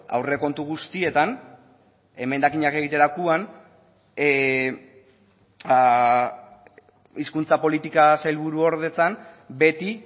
aurrekontu guztietan emendakinak egiterakoan hizkuntza politika sailburuordetzan beti